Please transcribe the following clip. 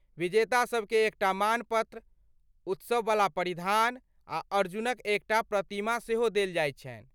विजेता सभकेँ एकटा मानपत्र, उत्सववला परिधान आ अर्जुनक एकटा प्रतिमा सेहो देल जाइत छनि।